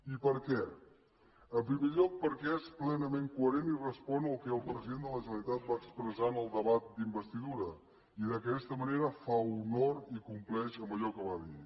i per què en primer lloc perquè és plenament coherent i respon al que el president de la generalitat va expressar en el debat d’investidura i d’aquesta manera fa honor i compleix amb allò que va dir